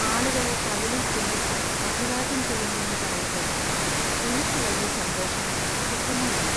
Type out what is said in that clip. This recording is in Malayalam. ആളുകളെ കവിളിൽ ചുംബിച്ച് അഭിവാദ്യം ചെയ്യണമെന്നു പറയുമ്പോൾ എനിക്ക് വലിയ സന്തോഷമോ സുഖമോ ഇല്ല.